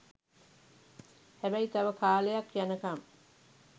හැබැයි තව කාලයක් යන කම්